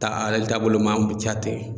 Ta ale taabolo ma an b'u jate.